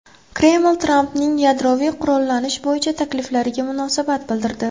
Kreml Trampning yadroviy qurollanish bo‘yicha takliflariga munosabat bildirdi.